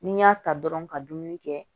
Ni n y'a ta dɔrɔn ka dumuni kɛ